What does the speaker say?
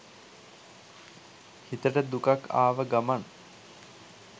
හිතට දුකක් ආව ගමන්